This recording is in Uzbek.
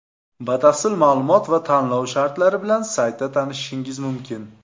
Batafsil ma’lumot va tanlov shartlari bilan saytida tanishishingiz mumkin.